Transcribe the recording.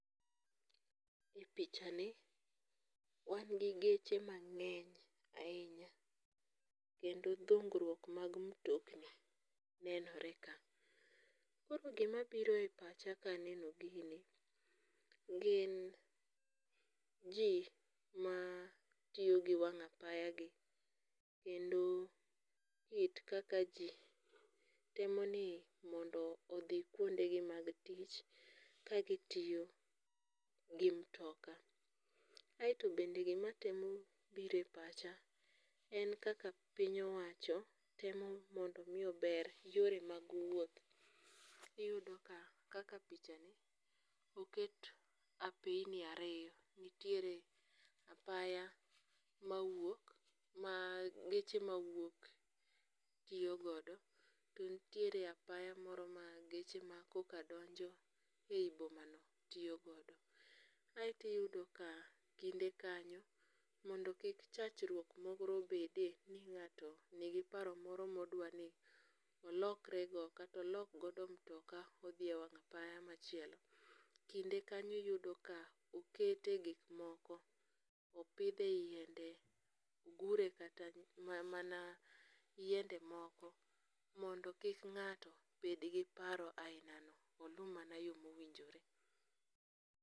E pichna wan gi geche mang'eny ahinya, kendo dhung'ruok mag mtokni nenore ka. Koro gimabiro e pacha ka aneno ginie gin ji matiyo gi wang'apayagi kendo kit kaka ji temo ni mondo odhi kuondegi mag tich kagitiyo gi mtoka, aeto bende gima temo biro e pacha en kaka piny owacho temo mondo mi ober yore mag wuoth iyudo ka kaka pichani oket apeini ariyo, nitiere apaya mawuok ma geche mawuok tiyo godo, to nitiere apaya moro ma geche e koka donjo e yi bomanao tiyo godo. Aeto iyudo ka kinde kanyo mondo kik chachruok moro bede ni ng'ato nigi paro moro modwani olokrego kata olok godo mtoka odhiye wang' apaya machielo, kinde kanyo iyudo ka oketie gik moko, opithie yiende, ogure kata mana yiende moko mondo kik ng'ato bed gi paro ahinano olu mama yo mowinjore